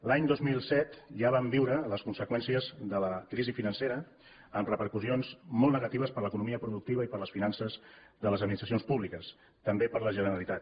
l’any dos mil set ja vam viure les conseqüències de la crisi financera amb repercussions molt negatives per a l’economia productiva i per a les finances de les administracions públiques també per a la generalitat